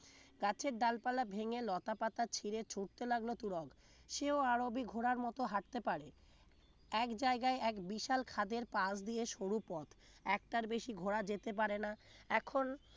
গাছের ডালপালা ভেঙে লতাপাতা ছিড়ে ছুটতে লাগল তুরক সেও আরবি ঘোড়ার মত হাঁটতে পারে এক জায়গায় এক বিশাল খাদের পাশ দিয়ে সরুপথ একটার বেশি ঘোরা যেতে পারে না এখন